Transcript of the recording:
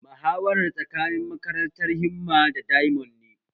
Muhawarar tsakanin makarantar himma da diamond ne